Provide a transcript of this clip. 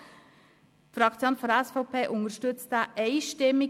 Die SVP-Fraktion unterstützt diesen Antrag einstimmig.